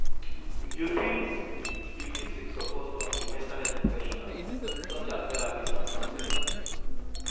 You fit You fit seek support from di mental health professionals such as therapists and counselors.